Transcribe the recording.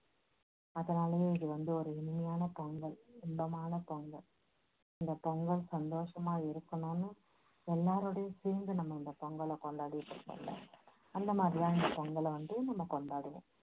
அதனாலேயே இது வந்து ஒரு இனிமையான பொங்கல் இன்பமான பொங்கல் இந்த பொங்கல் சந்தோஷமா இருக்கணும்னு எல்லாரோடையும் சேர்ந்து நம்ம இந்த பொங்கலை கொண்டாடிட்டு இருக்கோம்ல அந்த மாதிரியான பொங்கலை வந்து நம்ம கொண்டாடணும்.